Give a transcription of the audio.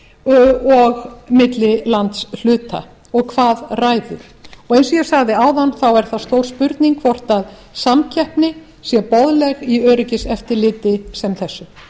og milli landshluta og hvað ræður og eins og ég sagði áðan þá er það stór spurning hvort að samkeppni sé boðleg í öryggiseftirliti sem þessu